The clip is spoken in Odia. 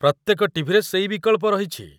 ପ୍ରତ୍ୟେକ ଟିଭିରେ ସେଇ ବିକଳ୍ପ ରହିଛି।